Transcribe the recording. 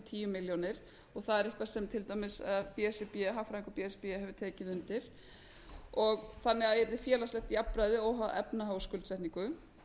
tíu milljónir og það er eitthvað sem til dæmis b s r b hagfræðingur b s r b hefur tekið undir þannig að yrði félagslegt jafnræði óháð efnahag og skuldsetningu